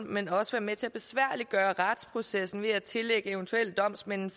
men også være med til at besværliggøre retsprocessen ved at tillægge eventuelle domsmænd en